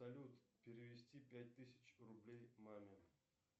салют перевести пять тысяч рублей маме